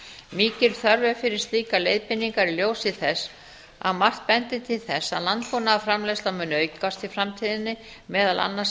mikil þörf er fyrir slíkar leiðbeiningar í ljósi þess að margt bendir til þess að landbúnaðarframleiðsla muni aukast í framtíðinni meðal annars í